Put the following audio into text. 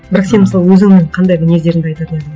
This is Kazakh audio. бірақ сен мысалы өзіңнің қандай мінездеріңді айтатын едің